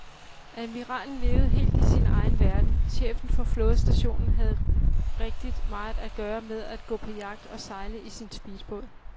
Admiralen levede helt i sin egen verden, chefen for flådestationen havde rigtig meget at gøre med at gå på jagt og sejle i sin speedbåd.